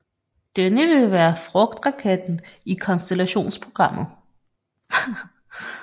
Denne vil være fragtraketten i Constellationprogrammet